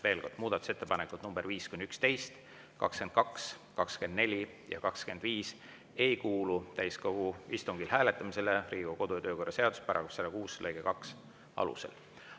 Veel kord, muudatusettepanekud nr 5–11, 22, 24 ja 25 ei kuulu täiskogu istungil hääletamisele Riigikogu kodu‑ ja töökorra seaduse § 106 lõike 2 alusel.